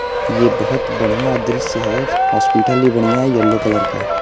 ये बहोत बढ़िया दृश्य है। हॉस्पिटल भी बढ़ियां है येलो कलर का है।